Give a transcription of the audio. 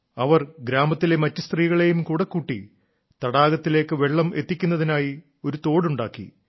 അവർ ഗ്രാമത്തിലെ മറ്റു സ്ത്രീകളെയും കൂടെ കൂട്ടി തടാകത്തിലേക്ക് വെള്ളം എത്തിക്കുന്നതിനായി ഒരു തോടുണ്ടാക്കി